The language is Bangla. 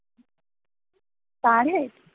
per head